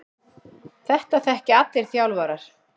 Þetta þekkja allir þjálfarar.